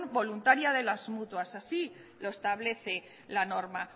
voluntaria de las mutuas así lo establece la norma